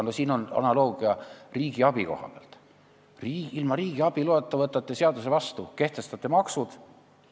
Praegu on riigiabi koha pealt analoogia: ilma riigiabi loata võtate seaduse vastu, kehtestate maksud.